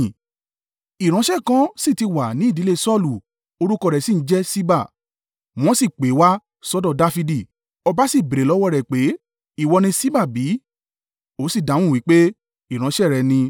Ìránṣẹ́ kan sì ti wà ní ìdílé Saulu, orúkọ rẹ̀ sí ń jẹ́ Ṣiba, wọ́n sì pè é wá sọ́dọ̀ Dafidi, ọba sì béèrè lọ́wọ́ rẹ̀ pé, “Ìwọ ni Ṣiba bí?” Ó sì dáhùn wí pé, “Ìránṣẹ́ rẹ ni.”